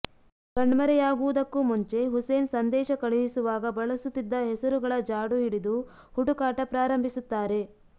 ಕಣ್ಮರೆಯಾಗುವುದಕ್ಕೂ ಮುಂಚೆ ಹುಸೇನ್ ಸಂದೇಶ ಕಳುಹಿಸುವಾಗ ಬಳಸುತ್ತಿದ್ದ ಹೆಸರುಗಳ ಜಾಡು ಹಿಡಿದು ಹುಡುಕಾಟ ಪ್ರಾರಂಭಿಸುತ್ತಾರೆ